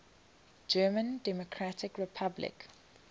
german democratic republic